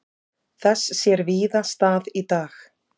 Þess sér víða stað í dag.